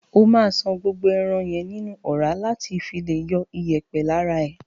O ma ṣàn gbogbo ẹran yẹn nínú ọra lati fi le yọ iyèpè lara e.